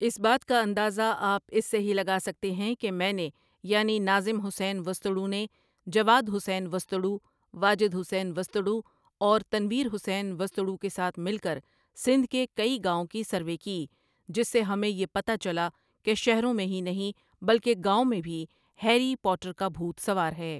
اس بات کا اندازہ آپ اسے ہی لگا سکتے ہیں کہ میں نے یعنی ناظم حسین وسطڑو نے جواد حسین وسطڑو، واجد حسین وسطڑو اور تنویر حسین وسطڑو کے ساتھ مل کر سندھ کے کئی گاؤں کی سروے کی جس سے ہمیں یہ پتا چلا کہ شہروں میں ہی نہیں بلکہ گاؤں میں بھی ہیری پوٹر کا بھوت سوار ہے ۔